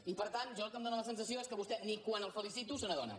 i per tant a mi el que em dóna la sensació és que vostè ni quan el felicito se n’adona